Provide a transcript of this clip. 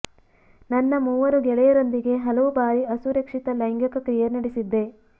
ನನ್ನ ಮೂವರು ಗೆಳೆಯರೊಂದಿಗೆ ಹಲವು ಬಾರಿ ಅಸುರಕ್ಷಿತ ಲೈಂಗಿಕ ಕ್ರಿಯೆ ನಡೆಸಿದ್ದೆ